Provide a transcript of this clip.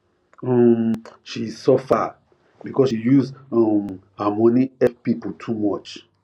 um she suffer because she use um her money help people too much